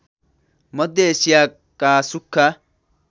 मध्य एशियाका सुख्खा